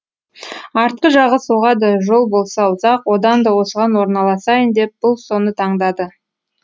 артқы жағы соғады жол болса ұзақ одан да осыған орналасайын деп бұл соны таңдады